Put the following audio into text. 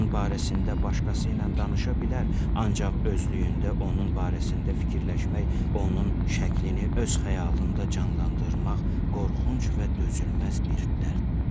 Onun barəsində başqası ilə danışa bilər, ancaq özlüyündə onun barəsində fikirləşmək, onun şəklini öz xəyalında canlandırmaq qorxunc və dözülməz bir dərddir.